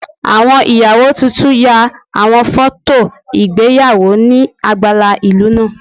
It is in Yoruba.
Awọn iyawo tuntun ya awọn fọto igbeyawo ni agbala ilu naa